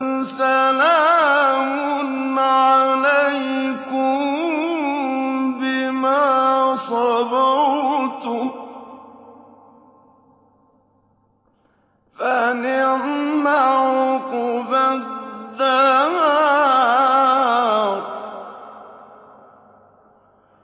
سَلَامٌ عَلَيْكُم بِمَا صَبَرْتُمْ ۚ فَنِعْمَ عُقْبَى الدَّارِ